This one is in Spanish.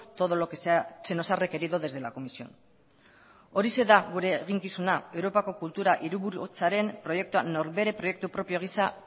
todo lo que se nos ha requerido desde la comisión horixe da gure eginkizuna europako kultura hiriburutzaren norbere proiektu propio gisa